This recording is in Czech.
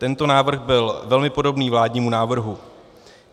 Tento návrh byl velmi podobný vládnímu návrhu.